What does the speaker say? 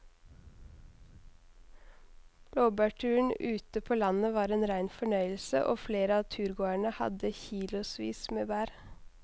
Blåbærturen ute på landet var en rein fornøyelse og flere av turgåerene hadde kilosvis med bær.